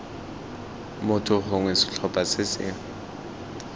motho gongwe setlhopha se se